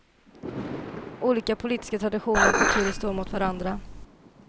Olika politiska traditioner och kulturer står mot varandra.